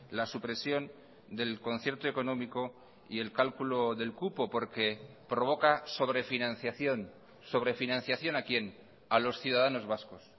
la supresión del concierto económico y el cálculo del cupo porque provoca sobrefinanciación sobrefinanciación a quién a los ciudadanos vascos